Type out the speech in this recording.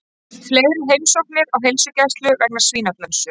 Fleiri heimsóknir á heilsugæslu vegna svínaflensu